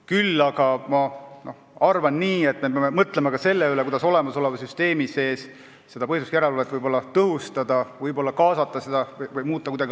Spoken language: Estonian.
Küll aga arvan, et me peame mõtlema ka selle üle, kuidas olemasoleva süsteemi sees seda põhiseaduslikkuse järelevalvet tõhustada või avatumaks muuta.